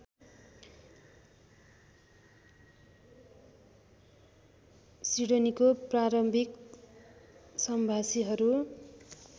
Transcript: सिडनीको प्रारम्भिक सम्भाषीहरू